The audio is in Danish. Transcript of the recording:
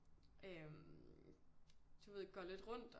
Øh du ved går lidt rundt